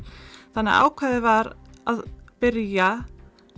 þannig að ákveðið var að byrja